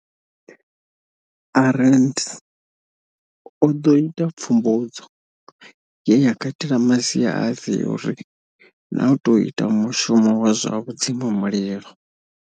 Arendse o ḓo ita pfumbudzo, ye ya katela masia a theori na u tou ita mushumo wa zwa vhudzimamulilo.